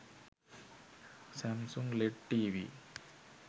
samsung led tv